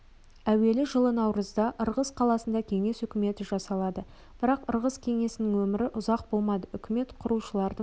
әуелі жылы наурызда ырғыз қаласында кеңес үкіметі жасалады бірақ ырғыз кеңесінің өмірі ұзақ болмады үкімет құрушылардың